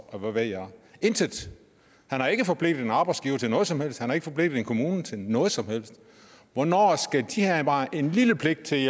og hvad ved jeg intet han har ikke forpligtet én arbejdsgiver til noget som helst han har ikke forpligtet én kommune til noget som helst hvornår skal de have bare en lille pligt til